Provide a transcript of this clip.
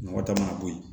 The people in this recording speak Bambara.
Nɔgɔ ta mana bɔ yen